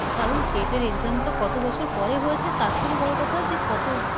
কারন TET এর Exam টা কত বছর পরে হয়েছে তার থেকে বড় কথা যে কত